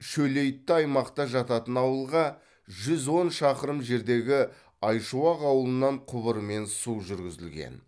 шөлейтті аймақта жататын ауылға жүз он шақырым жердегі айшуақ ауылынан құбырмен су жүргізілген